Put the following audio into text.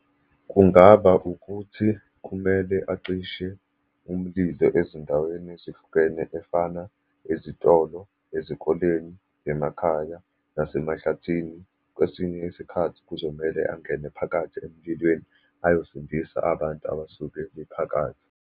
Kungaba ukuthi kumele acishe umlilo ezindaweni ezihlukene efana, ezitolo, ezikoleni, emakhaya, nasemahlathini. Kwesinye isikhathi kuzomele angene phakathi emlilweni ayosindisa abantu abasuke bephakathi.